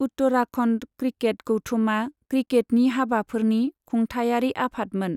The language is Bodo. उत्तराखन्ड क्रिकेट गौथुमा क्रिकेटनि हाबाफोरनि खुंथायारि आफादमोन।